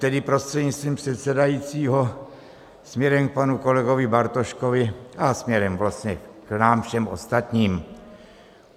Tedy prostřednictvím předsedajícího, směrem k panu kolegovi Bartoškovi a směrem vlastně k nám všem ostatním.